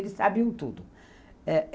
Eles sabiam tudo. Eh